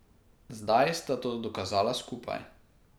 Zdaj sta to dokazala skupaj.